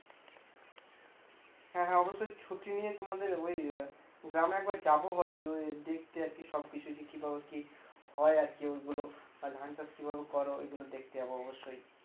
হ্যাঁ হ্যাঁ অবশ্যই ছুটি নিয়ে তোমাদের ওই গ্রামে একবার যাব ভাবছি ওই দেখতে আর কি সব কিছু কী ভাবে কী হয় আর কী ওগুলো আর ধানচাষ কীভাবে করো এগুলো দেখতে যাব অবশ্যই